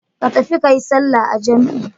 Ka tafi ka yi sallah a jam'i.